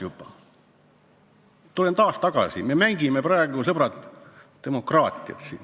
Tulen taas tagasi selle juurde, et me mängime siin praegu, sõbrad, demokraatiat.